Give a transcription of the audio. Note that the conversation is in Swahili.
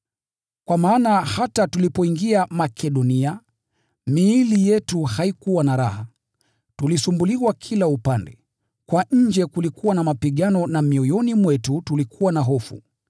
Kwa maana hata tulipoingia Makedonia, miili yetu haikuwa na raha. Tulisumbuliwa kila upande, kwa nje kulikuwa na mapigano na mioyoni mwetu tulikuwa na hofu.